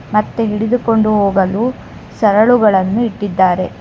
ಮತ್ತೆ ಹಿಡಿದುಕೊಂಡು ಹೋಗಲು ಸರಳುಗಳನ್ನು ಇಟ್ಟಿದ್ದಾರೆ.